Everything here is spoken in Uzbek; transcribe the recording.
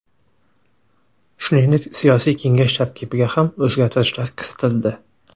Shuningdek, siyosiy kengash tarkibiga ham o‘zgartirishlar kiritildi.